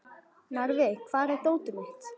Narfi, hvar er dótið mitt?